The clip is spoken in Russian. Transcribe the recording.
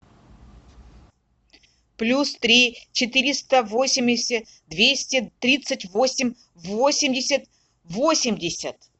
плюс три четыреста восемьдесят двести тридцать восемь восемьдесят восемьдесят